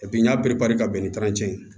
n y'a ka bɛn ni ye